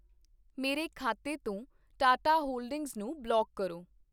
ਮੇਰੇ ਖਾਤੇ ਤੋਂ ਟਾਟਾ ਹੋਲਡਿੰਗਜ਼ ਨੂੰ ਬਲੌਕ ਕਰੋ।